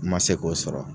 N ma se k'o sɔrɔ